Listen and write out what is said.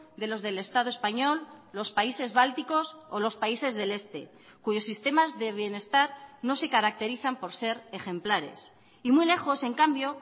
de los del estado español los países bálticos o los países del este cuyos sistemas de bienestar no se caracterizan por ser ejemplares y muy lejos en cambio